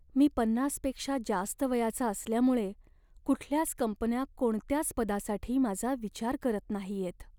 मी पन्नासपेक्षा जास्त वयाचा असल्यामुळे कुठल्याच कंपन्या कोणत्याच पदासाठी माझा विचार करत नाहीयेत.